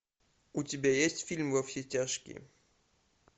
у тебя есть фильм во все тяжкие